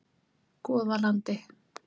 Goðalandi